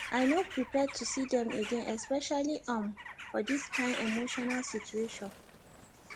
i no prepare to see dem again especially um for this kain emotional situation